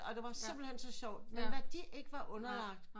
Og det var simpelthen så sjovt men hvad de ikke var underlagt